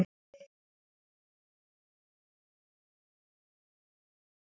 Um okkur lata er ekkert að segja.